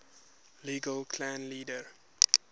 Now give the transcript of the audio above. local clan leader